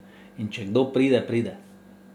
In če kdo pride, pride.